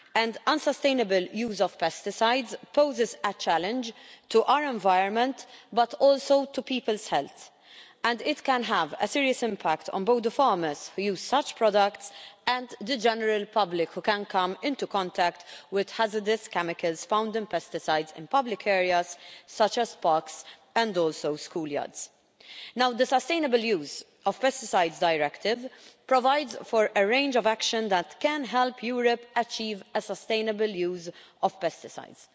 The unsustainable use of pesticides poses a challenge not only to our environment, but also to people's health, and it can have a serious impact on both the farmers who use such products and the general public who can come into contact with hazardous chemicals found in pesticides in public areas such as parks and also school yards. Now the Sustainable Use of Pesticides Directive provides for a range of actions that can help Europe achieve a sustainable use of pesticides.